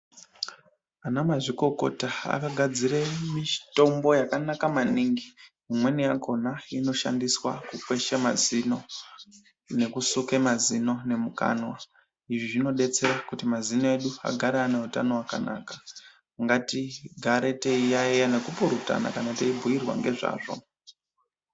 Ana mazvikokota akagadzire mitombo yakanaka maningi, imweni yakona inoshandiswa kukwesha mazino nekusuke mazino nemukanwa, izvi zvinodetsera kuti mazino edu agare ane utano hwakanaka, ngatigare teiyayiyana nekupurutana kana teibhuyirwa ngezvazvo.